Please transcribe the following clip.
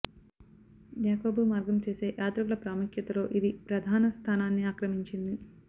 యాకోబు మార్గం చేసే యాత్రికుల ప్రాముఖ్యతలో ఇది ప్రధాన స్థానాన్ని ఆక్రమించింది